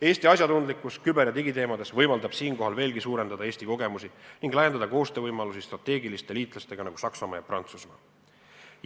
Eesti asjatundlikkus küber- ja digiteemade puhul võimaldab veelgi suurendada Eesti kogemusi ning laiendada koostööd selliste strateegiliste liitlastega nagu Saksamaa ja Prantsusmaa.